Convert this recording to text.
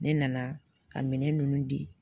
Ne nana ka minɛn ninnu di